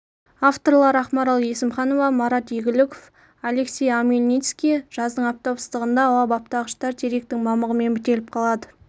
авторлары ақмарал есімханова марат игіліков алексей омельницкий жаздың аптап ыстығында ауа баптағыштар теректің мамығымен бітеліп қалады